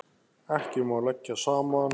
Ekki má leggja saman.